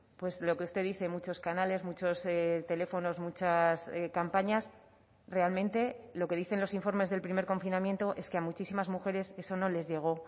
pues lo que usted dice muchos canales muchos teléfonos muchas campañas realmente lo que dicen los informes del primer confinamiento es que a muchísimas mujeres eso no les llegó